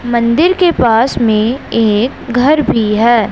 मंदिर के पास में एक घर भी हैं।